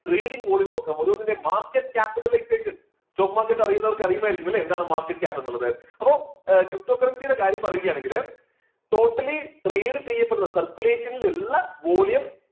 reading volume നോക്കാം. ഓരോന്നിന്റെ market capitalization stock market അറിയുന്നവർക്ക് അറിയുമായിരിക്കും എന്താണ് market cap എന്ന് ഉള്ളത്. അപ്പോ ptocurrency യുടെ കാര്യം പറയുക ആണെങ്കില് totally trade ചെയ്യപ്പെടുന്ന circulation ൽ ഉള്ള volume